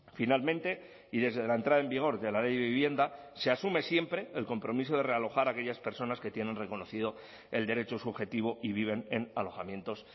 finalmente y desde la entrada en vigor de la ley de vivienda se asume siempre el compromiso de realojar a aquellas personas que tienen reconocido el derecho subjetivo y viven en alojamientos